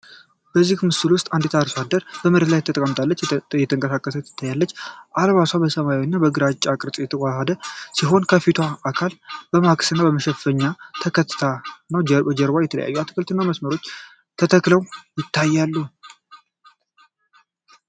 በዚህ ምስል ውስጥ አንድ ሴት በአርሶ አደሮች መሬት ላይ ተጠናቀቀች እየተንቀሳቀሰች ታይታለች። አልባሷ ከሰማያዊ እና ከግራጫ ቅርጽ የተዋሃደ ሲሆን፣ የፊቷን አካል በመክሰስ እና በመሸፈኛ ተከትታ ነው። በጀርባ የተለያዩ አትክልቶች በመስመር ተተክለው ታይተዋል።